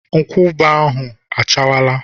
Nkwụaba ahụ achawala.